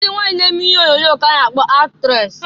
Ndị nwanyị na-eme ihe onyoonyo ka-a na-akpọ ndị aktres.